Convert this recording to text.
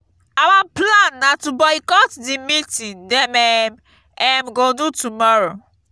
our plan na to boycott the meeting dem um um go do tomorrow